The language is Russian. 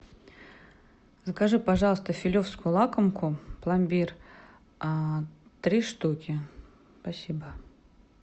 закажи пожалуйста филевскую лакомку пломбир три штуки спасибо